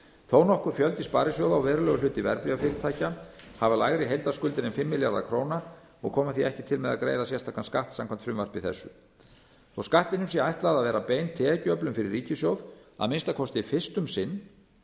þó nokkur fjöldi sparisjóða og verulegur hluti verðbréfafyrirtækja hefur lægri heildarskuldir en fimm milljarða króna og kemur því ekki til með að greiða sérstakan skatt samkvæmt frumvarpi þessu þótt skattinum sé ætlað að vera bein tekjuöflun fyrir ríkissjóð að minnsta kosti fyrst um sinn